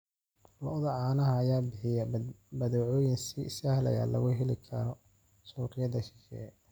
Lo'da caanaha ayaa bixiya badeecooyin si sahal ah looga heli karo suuqyada shisheeye.